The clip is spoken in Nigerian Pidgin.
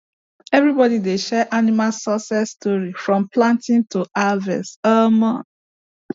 everybody dey share animal success stories from planting to harvest um